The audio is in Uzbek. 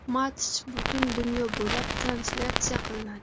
Match butun dunyo bo‘ylab translyatsiya qilinadi.